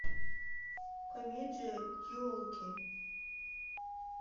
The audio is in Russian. комедия елки